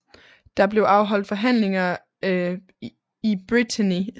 Der blev afholdt forhandlinger i Brétigny